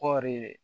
Kɔɔri